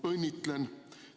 Õnnitlen!